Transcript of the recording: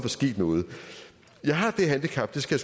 sket noget jeg har det handicap det skal